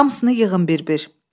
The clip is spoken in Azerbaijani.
Hamısını yığın bir-bir.